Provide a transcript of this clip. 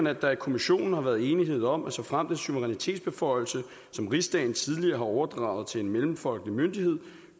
at der i kommissionen har været enighed om at såfremt en suverænitetsbeføjelse som rigsdagen tidligere har overdraget til en mellemfolkelig myndighed